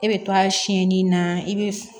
E bɛ to a sɛni na i bɛ